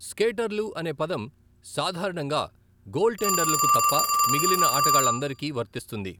స్కేటర్లు అనే పదం సాధారణంగా గోల్ టెండర్లుకు తప్ప మిగిలిన ఆటగాళ్లందరికీ వర్తిస్తుంది.